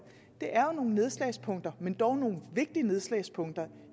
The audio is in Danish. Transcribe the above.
det er jo nogle nedslagspunkter men dog nogle vigtige nedslagspunkter